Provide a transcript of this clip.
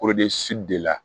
de la